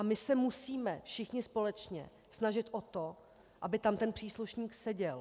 A my se musíme všichni společně snažit o to, aby tam ten příslušník seděl.